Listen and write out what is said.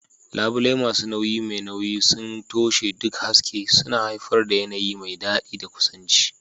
Labule masu nauyi mai nauyi sun toshe duk haske, suna haifar da yanayi mai daɗi da kusanci.